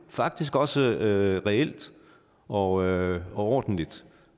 faktisk også reelt og ordentligt